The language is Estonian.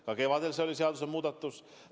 Ka kevadel oli tegu seadusemuudatusega.